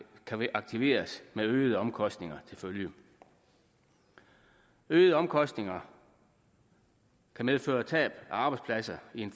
kan aktiveres med øgede omkostninger til følge øgede omkostninger kan medføre tab af arbejdspladser i en